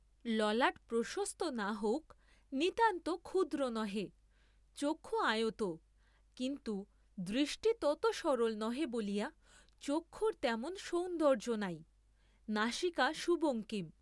ললাট প্রশস্ত না হউক, নিতান্ত ক্ষুদ্র নহে, চক্ষু আয়ত, কিন্তু দৃষ্টি তত সরল নহে বলিয়া চক্ষুর তেমন সৌন্দর্য্য নাই; নাসিকা সুবঙ্কিম, তাহা কার্য্যতৎপরতার চিহ্ন।